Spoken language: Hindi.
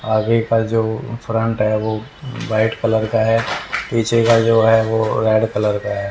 आगे का जो फ्रंट है वो वाइट कलर का है पीछे का जो है वो रेड कलर का है।